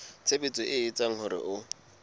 tshebetso e etsang hore ho